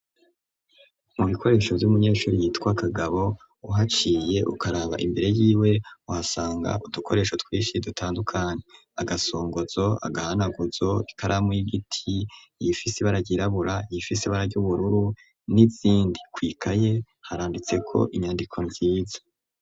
Mu bikoresho vy'umunyeshuri yitwa Kagabo, uhaciye ukaraba imbere y'iwe uhasanga udukoresho twinshi dutandukanye. Agasongozo, agahanaguzo, ikaramu y'igiti ifise ibara ryirabura, iyifise ibara ry'ubururu, n'izindi. Kw'ikaye haranditseko inyandiko nziza.